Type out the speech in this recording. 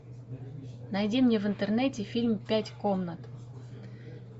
найди мне в интернете фильм пять комнат